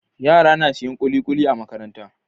Yara na siyan kulikuli a Makaranta